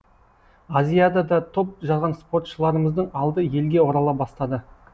азиядада топ жарған спортшыларымыздың алды елге орала бастады